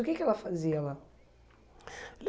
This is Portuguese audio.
O que que ela fazia lá?